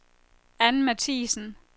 Ann Mathiesen